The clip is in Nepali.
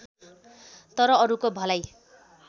तर अरूको भलाइ